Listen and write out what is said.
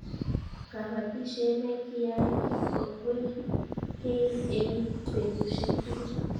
kabatishiet ne kiai ko kwel kei eng betushiek tugul